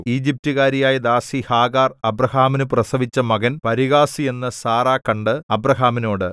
ഈജിപ്റ്റുകാരിയായ ദാസി ഹാഗാർ അബ്രാഹാമിനു പ്രസവിച്ച മകൻ പരിഹാസി എന്നു സാറാ കണ്ട് അബ്രാഹാമിനോട്